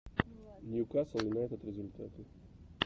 ньюкасл юнайтед результаты